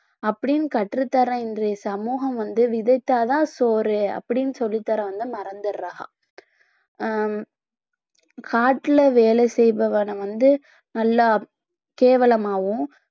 அப்படின்னு கற்றுத்தற இன்றைய சமூகம் வந்து விதைச்சாதான் சோறு அப்படின்னு சொல்லிதர வந்து மறந்திடறாங்க ஹம் காட்டுல வேலை செய்பவன வந்து நல்லா கேவலமாவும்